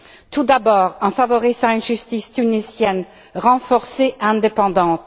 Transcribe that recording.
Tout d'abord, en favorisant une justice tunisienne renforcée et indépendante.